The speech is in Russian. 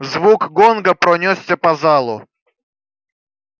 звук гонга пронёсся по залу